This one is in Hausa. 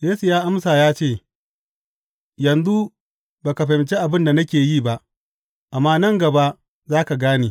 Yesu ya amsa ya ce, Yanzu ba ka fahimci abin da nake yi ba, amma nan gaba za ka gane.